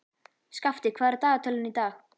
Skafti, hvað er á dagatalinu í dag?